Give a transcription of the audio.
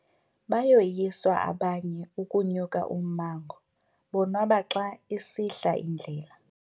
Bayoyiswa abanye ukunya ummango bonwaba xa isihla indlela.